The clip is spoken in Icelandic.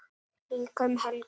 Líka um helgar.